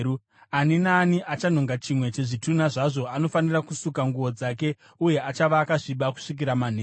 Ani naani achanhonga chimwe chezvitunha zvazvo anofanira kusuka nguo dzake uye achava akasviba kusvikira manheru.